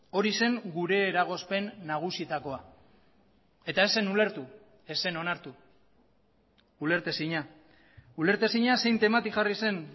hori zen gure eragozpen nagusietakoa eta ez zen ulertu ez zen onartu ulertezina ulertezina zein temati jarri zen